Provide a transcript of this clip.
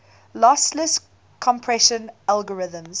lossless compression algorithms